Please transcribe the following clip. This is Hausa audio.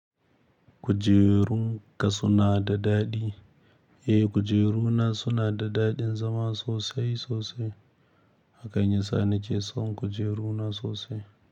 Kujerun ka suna da daɗi. Eh, kujeruna suna da daɗin zama sosai sosai, hakan yasa na ke son kujeruna sosai.